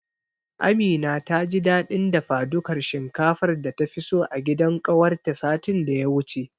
Amina taji dadin dafadukar shinkafar data fi so a gidan kawarta satin daya wuce.